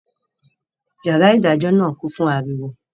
Yàrá ìdájọ́ náà kún fún ariwo